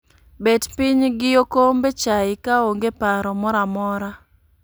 Bet piny gi okombe chai ka onge paro moramora